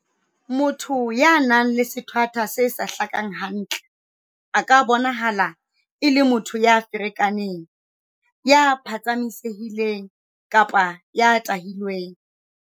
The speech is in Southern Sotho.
Motho ya nang le sethwathwa se sa hlakang hantle a ka bonahala e le motho ya ferekaneng, ya phatsamise-hileng kapa ya tahilweng.